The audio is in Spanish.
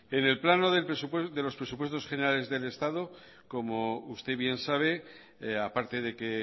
en el plano de los presupuestos generales del estado como usted bien sabe a parte de que